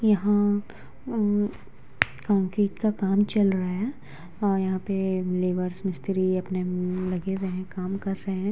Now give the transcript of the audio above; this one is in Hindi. यहाँ अम्म कंक्रीट का काम चल रहा है और यहाँ पे लेबर्स मिस्त्री अपने-अपने लगे हुए हैं काम कर रहे हैं।